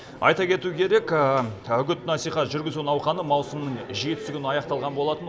айта кету керек үгіт насихат жүргізу науқаны маусымның жетісі күні аяқталған болатын